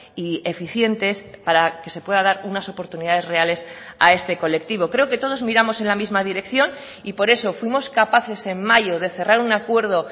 y eficientes para que se pueda dar unas oportunidades reales a este colectivo creo que todos miramos en la misma dirección y por eso fuimos capaces en mayo de cerrar un acuerdo